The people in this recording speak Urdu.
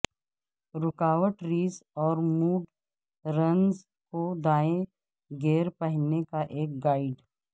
رکاوٹ ریس اور موڈ رنز کو دائیں گیئر پہننے کا ایک گائیڈ